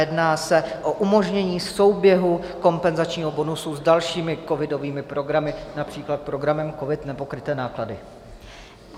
Jedná se o umožnění souběhu kompenzačního bonusu s dalšími covidovými programy, například programem COVID - Nepokryté náklady.